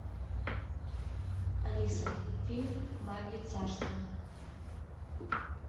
алиса фильм бабье царство